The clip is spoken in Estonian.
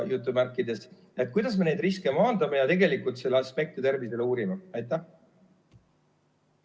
Kuidas me neid riske maandame ja tegelikult selle mõju tervisele uurime?